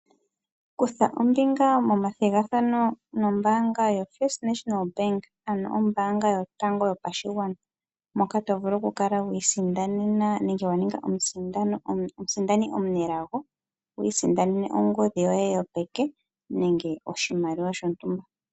Kutha ombinga momathigathano nombaanga yoFNB ano ombaanga yotango yopashigwana, moka to vulu oku kala wi isindanena nenge omusindani omunelago wu isindanene ongodhi yoye yopeke nenge oshimaliwa shontumba.